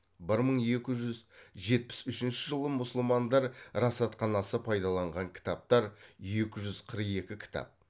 бір мың екі жүз жетпіс үшінші жылы мұсылмандар расатханасы пайдаланған кітаптар екі жүз қырық екі кітап